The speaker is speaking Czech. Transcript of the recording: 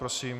Prosím.